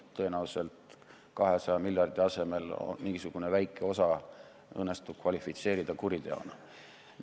Tõenäoliselt 200 miljardi asemel mingisugune väike osa õnnestub kvalifitseerida kuriteona.